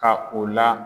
Ka o la